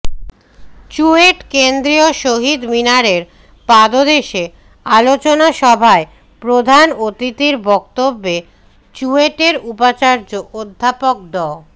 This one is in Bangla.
চুয়েট কেন্দ্রীয় শহীদ মিনারের পাদদেশে আলোচনা সভায় প্রধান অতিথির বক্তব্যে চুয়েটের উপাচার্য অধ্যাপক ড